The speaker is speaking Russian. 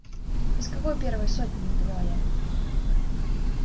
из какой первой сотни не поняла я